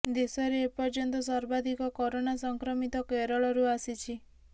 ଦେଶରେ ଏ ପର୍ଯ୍ୟନ୍ତ ସର୍ବାଧିକ କରୋନା ସଂକ୍ରମିତ କେରଳରୁ ଆସିଛି